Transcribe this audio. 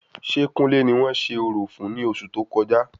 Ṣé kúnlè ni wọ́n ṣe orò fún ní oṣù tó kọjá?